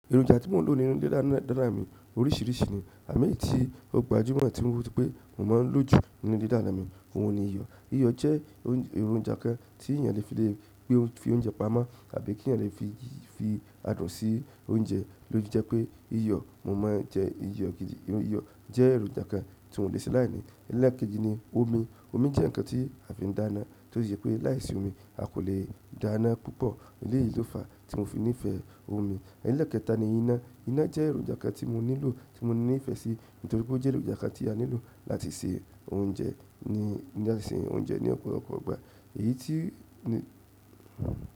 Èròjà oúnjẹ tí mo n lò nínú ilé dána mi oríṣìíríṣìí ni àmọ eyìí tí ó gbajúmọ̀ tí mo rí pé mo máa n lò jù nínú ilé dána mi, ohun ni iyọ̀. Iyọ̀ jẹ́ èròjà kan tí èèyàn lè fi le gbé fi oúnjẹ pamọ́ tàbí kí èèyàn lè fi fi adùn sí oúnjẹ lófi jẹ́ pé iyọ̀ mo máa ń jẹ iyọ̀ gidi. Iyọ̀ jẹ́ èròjà kan tí mi ò le ṣe aláìní. Ẹ̀lẹ́ẹ̀keji ni omi. Omi jẹ́ nǹkan tí a fi ń dáná tó si jẹ pé láìsí omi a kò lè dáná púpọ̀. Èyí yìí ló fàá tí mo fi nífẹ̀ẹ́ omi. Ẹ̀lẹ́ẹ̀kẹta ni iná. Ina je èròjà kan ti mo nílò, ti mo nife si. Nítorí pe o je èròjà kan ti a nílò láti se oúnjẹ. Ni láti se oúnjẹ ni ọ̀pọ̀lọpọ̀ ìgbà èyí ti.